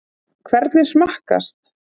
Hvernig smakkast?